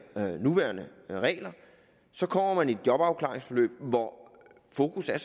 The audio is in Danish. nuværende regler så kommer man i et jobafklaringsforløb hvor fokus er